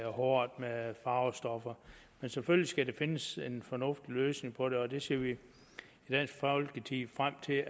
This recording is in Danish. håret med farvestoffer men selvfølgelig skal der findes en fornuftig løsning på det og det ser vi i dansk folkeparti frem til